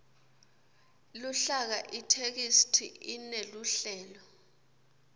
luhlaka itheksthi ineluhlelo